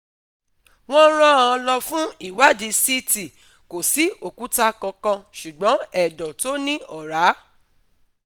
wọ́n rán an lọ fún ìwádìí CT, kò sí òkúta kankan, ṣùgbọ́n ẹ̀dọ̀ tó ní ọrá